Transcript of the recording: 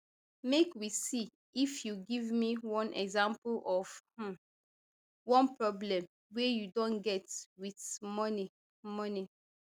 make we see if you give me one example of um one problem wey you don get wit money money